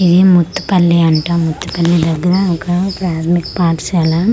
ఇది ముత్తు పల్లి అంట ముట్టు పల్లి దెగ్గర ఒక ప్రాధమిక పాఠశాల .